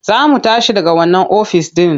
Za mu tashi daga wannan ofis ɗin.